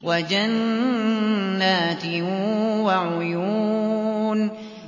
وَجَنَّاتٍ وَعُيُونٍ